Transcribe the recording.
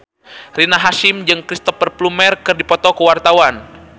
Rina Hasyim jeung Cristhoper Plumer keur dipoto ku wartawan